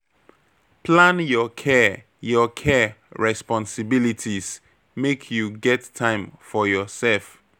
Plan your care your care responsibilities, make you get time for yoursef.